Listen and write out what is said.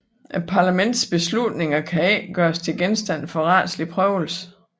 Parlamentets beslutninger kan ikke gøres til genstand for retslig prøvelse